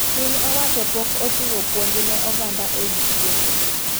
Piny wacho pok ochiwo puonj ne oganda ewi tuoche